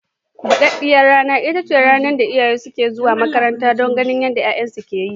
Buɗaɗɗiyar rana ita ce rana da iyayen sukan zo makaranta don ganin yadda 'ya'yansu ke yi.